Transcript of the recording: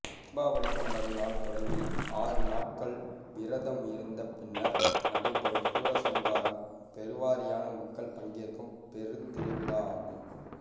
தீபாவளிக்கு மறுநாள் தொடங்கி ஆறுநாள்கள் விரதம் இருந்த பின்னர் நடைபெறும் சூரசம்காரம் பெருவாரியான மக்கள் பங்கேற்கும் பெருந்திருவிழா ஆகும்